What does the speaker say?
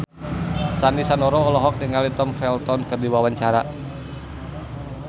Sandy Sandoro olohok ningali Tom Felton keur diwawancara